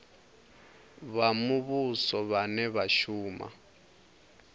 vha muvhuso vhane vha shuma